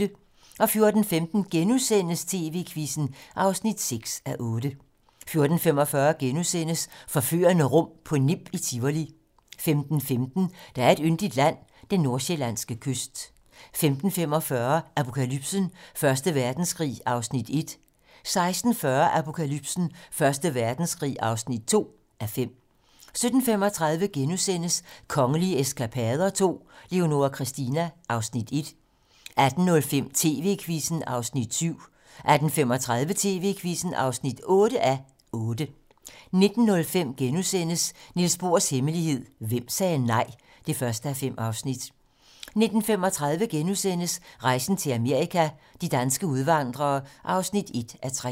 14:15: TV-Quizzen (6:8)* 14:45: Forførende rum på Nimb i Tivoli * 15:15: Der er et yndigt land - den nordsjællandske kyst 15:45: Apokalypsen: Første Verdenskrig (1:5) 16:40: Apokalypsen: Første Verdenskrig (2:5) 17:35: Kongelige eskapader II - Leonora Christina (Afs. 1)* 18:05: TV-Quizzen (7:8) 18:35: TV-Quizzen (8:8) 19:05: Niels Bohrs hemmelighed: Hvem sagde nej? (1:5)* 19:35: Rejsen til Amerika – de danske udvandrere (1:3)*